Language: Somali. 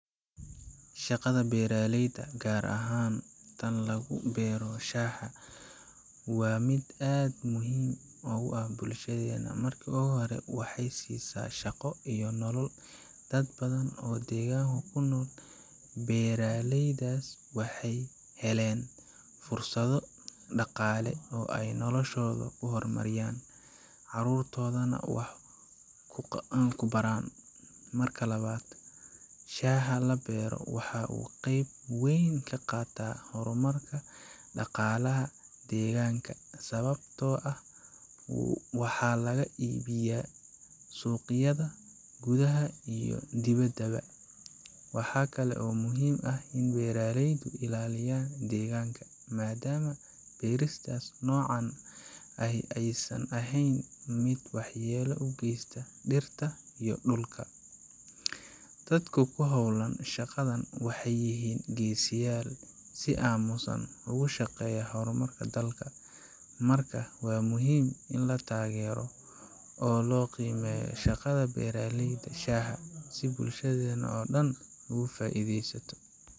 Shaqada beeralayda, gaar ahaan tan lagu beero shaaha, waa mid aad muhiim ugu ah bulshadeena. Marka hore, waxay siisaa shaqo iyo nolol dad badan oo deegaanka ku nool. Beeralaydaas waxay heleen fursado dhaqaale oo ay noloshooda ku horumariyaan, carruurtoodana wax ku baraan. Marka labaad, shaaha la beero waxa uu qayb weyn ka qaataa horumarka dhaqaalaha deegaanka, sababtoo ah waxa laga iibgeeyaa suuqyada gudaha iyo dibaddaba. Waxa kale oo muhiim ah in beeralaydu ilaaliyaan deegaanka, maadaama beerista noocan ahi aysan ahayn mid waxyeello u geysata dhirta iyo dhulka. Dadka ku hawlan shaqadan waxay yihiin geesiyaal si aamusan ugu shaqeeya horumarka dalka. Marka, waa muhiim in la taageero oo la qiimeeyo shaqada beeralayda shaaha, si bulshada oo dhan uga faa’iidaysato.